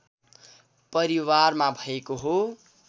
परिवारमा भएको हो